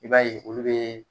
I b'a ye olu be